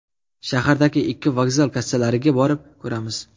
Shahardagi ikki vokzal kassalariga borib ko‘ramiz.